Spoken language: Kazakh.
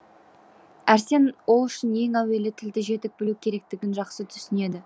әрсен ол үшін ең әуелі тілді жетік білу керектігін жақсы түсінеді